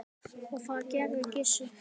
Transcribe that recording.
Og það gerði Gissur.